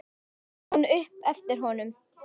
át hún upp eftir honum.